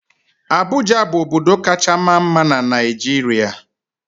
Abụja bụ obodo kacha maa mma na Naịjirịa.